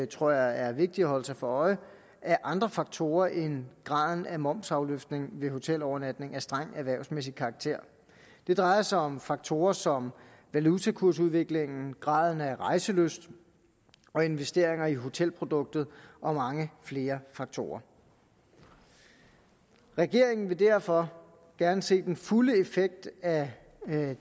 tror jeg er vigtigt at holde sig for øje af andre faktorer end graden af momsafløftning ved hotelovernatning af streng erhvervsmæssig karakter det drejer sig om faktorer som valutakursudviklingen graden af rejselyst og investeringer i hotelproduktet og mange flere faktorer regeringen vil derfor gerne se den fulde effekt af